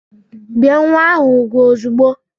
Bie nwa ahụ úgwù ozugbo!